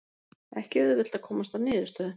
Ekki auðvelt að komast að niðurstöðu